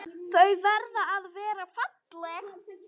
Þau verða að vera falleg.